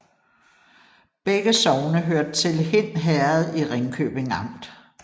Begge sogne hørte til Hind Herred i Ringkøbing Amt